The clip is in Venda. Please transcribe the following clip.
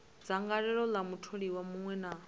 dzangalelo ḽa mutholiwa muṅwe na